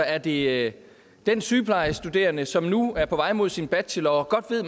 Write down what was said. er det den sygeplejestuderende som nu er på vej mod sin bachelor og godt ved at